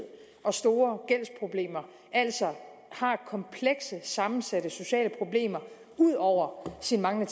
og store gældsproblemer altså har komplekse sammensatte sociale problemer ud over sin manglende